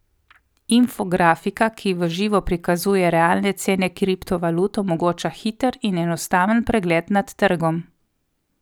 Infografika, ki v živo prikazuje realne cene kriptovalut, omogoča hiter in enostaven pregled nad trgom.